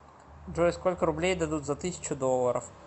джой сколько рублей дадут за тысячу долларов